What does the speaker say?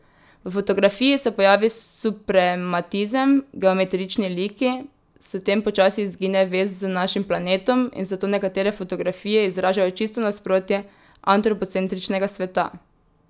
V fotografiji se pojavi suprematizem, geometrični liki, s tem počasi izgine vez z našim planetom in zato nekatere fotografije izražajo čisto nasprotje antropocentričnega sveta.